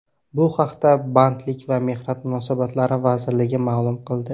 Bu haqda Bandlik va mehnat munosabatlari vazirligi ma’lum qildi.